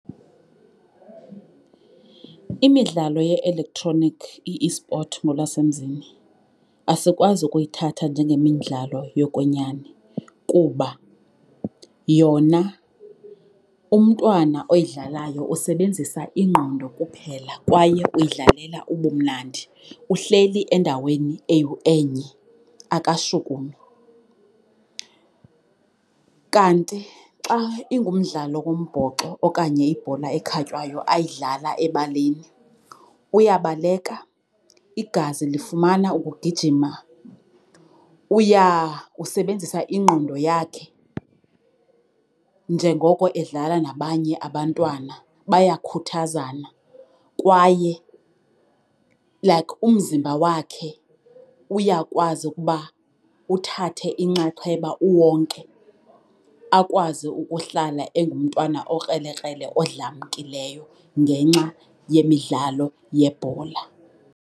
Imidlalo ye-elektroniki i-esport ngolwasemzini asikwazi ukuyithatha njengemidlalo yokwenyani kuba yona umntwana oyidlalayo usebenzisa ingqondo kuphela kwaye uyidlalela ubumnandi. Uhleli endaweni enye, akashukumi. Kanti xa ingumdlalo wombhoxo okanye ibhola ekhatywayo ayidlala ebaleni uyabaleka, igazi lifumana ukugijima. Usebenzisa ingqondo yakhe njengoko edlala nabanye abantwana, bayakhuthazana kwaye, like, umzimba wakhe uyakwazi ukuba uthathe inxaxheba uwonke akwazi ukuhlala engumntwana okrelekrele odlamkileyo ngenxa yemidlalo yebhola.